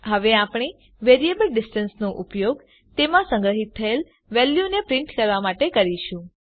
હવે આપણે વેરીએબલ distanceનો ઉપયોગ તેમાં સંગ્રહીત થયેલ વેલ્યુને પ્રીંટ કરવા માટે કરીશું